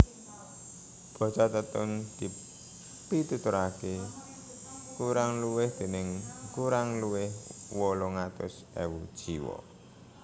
Basa Tetun dipituturaké kurang luwih déning kurang luwih wolung atus ewu jiwa